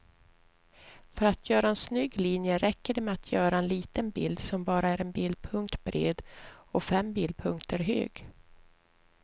För att göra en snygg linje räcker det med att göra en liten bild som bara är en bildpunkt bred och fem bildpunkter hög.